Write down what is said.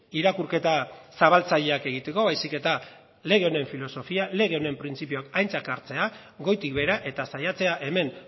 irakurketa zabaltzaileak egiteko baizik eta lege honen filosofia lege honen printzipioak aintzat hartzea goitik behera eta saiatzea hemen